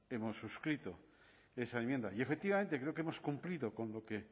hemos suscrito esa enmienda y efectivamente creo que hemos cumplido con lo que